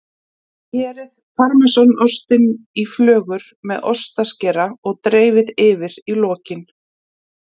Skerið parmesanostinn í flögur með ostaskera og dreifið yfir í lokin.